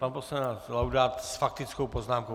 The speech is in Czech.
Pan poslanec Laudát s faktickou poznámkou.